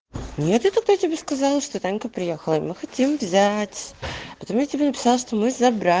нет я тогда тебе сказала что танька приехала и мы хотим взяять потому я тебе написал что мы забра